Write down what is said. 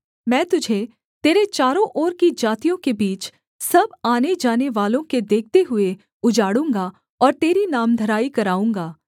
मैं तुझे तेरे चारों ओर की जातियों के बीच सब आनेजानेवालों के देखते हुए उजाड़ूँगा और तेरी नामधराई कराऊँगा